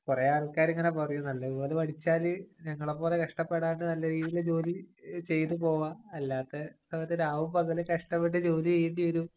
കൊറേ ആള്‍ക്കാര് ഇങ്ങനെ പറയും. നല്ലതുപോലെ പഠിച്ചാല് ഞങ്ങളെ പോലെ കഷ്ടപ്പെടാണ്ട് നല്ല രീതിയില് ജോലി ചെയ്തു പോവാം. അല്ലാത്ത സമയത്ത് രാവും, പകലും കഷ്ടപ്പെട്ട് ജോലി ചെയ്യേണ്ടി വരും.